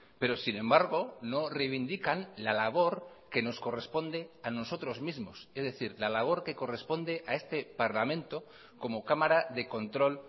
pero sin embargo no reivindican la labor que nos corresponde a nosotros mismos es decir la labor que corresponde a este parlamento como cámara de control